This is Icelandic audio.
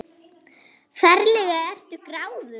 Ferlega ertu gráðug!